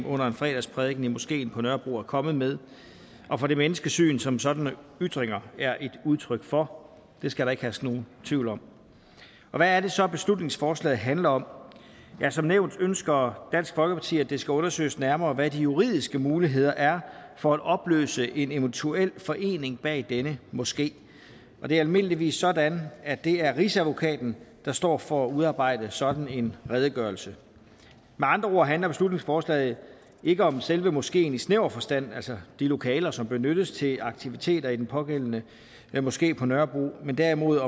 under en fredagsprædiken i moskeen på nørrebro er kommet med og fra det menneskesyn som sådanne ytringer er et udtryk for det skal der ikke herske nogen tvivl om hvad er det så beslutningsforslaget handler om som nævnt ønsker dansk folkeparti at det skal undersøges nærmere hvad de juridiske muligheder er for at opløse en eventuel forening bag denne moské og det er almindeligvis sådan at det er rigsadvokaten der står for at udarbejde en sådan redegørelse med andre ord handler beslutningsforslaget ikke om selve moskeen i snæver forstand altså de lokaler som benyttes til aktiviteter i den pågældende moské på nørrebro men derimod